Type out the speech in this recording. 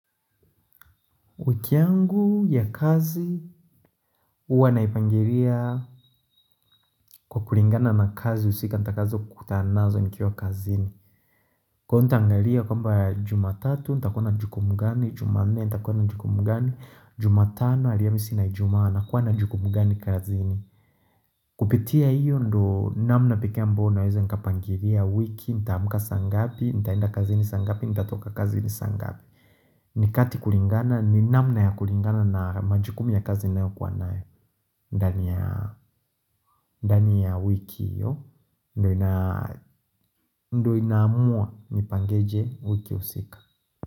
Wiki yangu ya kazi Uwa naipangiria kwa kulingana na kazi usika nita kazo kutana nazo nikiwa kazini Kwaiyo nita angalia kwamba jumatatu nita kuwa na jukumu gani jumanne nita kuwa na jukumu gani, jumatano aliyamisi na ijumaa na kuwa na jukumu gani kazini Kupitia iyo ndo namna peke amboyo nawezanika pangiria wiki, nitaamuka sa ngapi, nitaenda kazi ni sa ngapi, nita toka kazi ni sa ngapi Nikati kulingana ni namna ya kulingana na majukumu ya kazi naeo kuwa nayo ndani ya wiki yo Ndio inaamua nipangeje wiki usika.